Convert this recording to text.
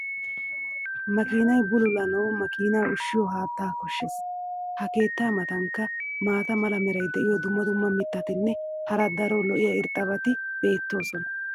makiinay bulullanawu makiinaa ushshiyo haaattaa koshshees. ha keettaa matankka maata mala meray diyo dumma dumma mitatinne hara daro lo'iya irxxabati beetoosona.